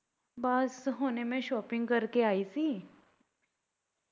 ਬਸ ਹੁਣੇ ਮੈਂ shopping ਕਰਕੇ ਆਈ ਸੀ